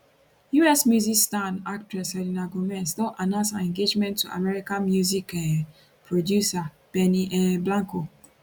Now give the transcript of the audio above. us music star and actress selena gomez don announce her engagement to american music um producer benny um blanco